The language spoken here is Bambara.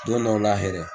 Don dɔw la yɛrɛ